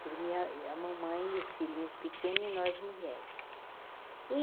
Dormia a mamãe e os filhinhos pequenos e nós mulheres.